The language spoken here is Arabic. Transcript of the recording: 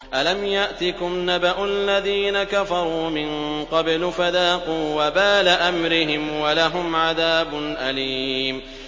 أَلَمْ يَأْتِكُمْ نَبَأُ الَّذِينَ كَفَرُوا مِن قَبْلُ فَذَاقُوا وَبَالَ أَمْرِهِمْ وَلَهُمْ عَذَابٌ أَلِيمٌ